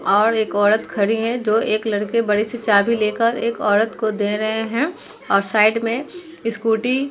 और एक औरत खड़ी है जो एक लड़के बड़ी सी चाभी लेकर एक औरत को दे रहे हैं और साइड में स्कूटी --